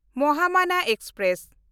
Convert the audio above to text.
Mahamana express